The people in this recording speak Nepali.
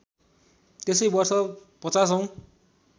त्यसै वर्ष ५० औँ